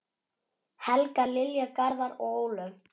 Helga, Lilja, Garðar og Ólöf.